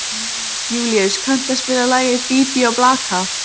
Júlíus, kanntu að spila lagið „Bí bí og blaka“?